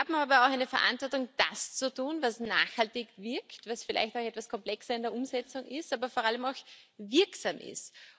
Wir haben aber auch eine Verantwortung, das zu tun, was nachhaltig wirkt, was vielleicht auch etwas komplexer in der Umsetzung ist, aber vor allem auch wirksam ist.